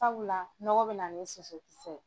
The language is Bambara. Sabula nɔgɔ bɛ na sosokisɛ ye.